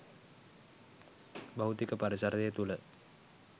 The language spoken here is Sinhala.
භෞතික පරිසරය තුළ